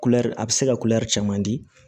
Kulɛri a bɛ se ka kulɛri caman di